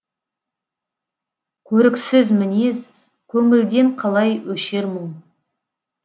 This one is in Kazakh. көріксіз мінез көңілден қалай өшер мұң